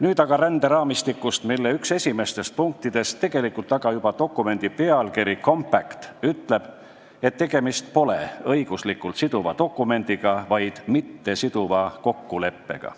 Nüüd aga ränderaamistikust, mille üks esimestest punktidest – tegelikult juba dokumendi pealkirjas olev sõna compact – ütleb, et tegemist pole õiguslikult siduva dokumendiga, vaid mittesiduva kokkuleppega.